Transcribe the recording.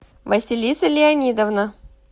василиса леонидовна